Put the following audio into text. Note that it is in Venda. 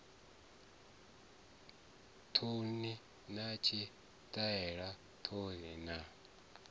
thouni na tshitaela thouni na